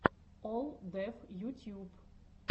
олл деф ютьюб